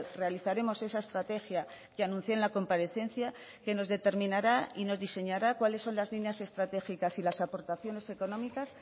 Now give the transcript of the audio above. realizaremos esa estrategia que anuncie en la comparecencia que nos determinará y nos diseñará cuáles son las líneas estratégicas y las aportaciones económicas